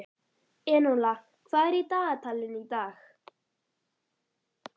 Enóla, hvað er í dagatalinu í dag?